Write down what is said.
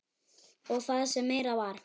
Og það sem meira var.